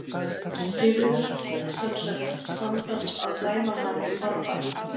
Sigurður: Sem sagt, standast að dæma hann í farbann?